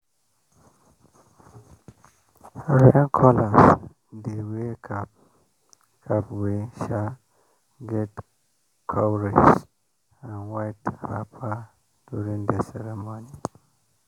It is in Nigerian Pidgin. rain callers dey wear cap cap wey get cowries and white wrapper during the ceremony.